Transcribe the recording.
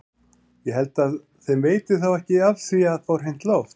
Ég held að þeim veiti þá ekki af því að fá hreint loft!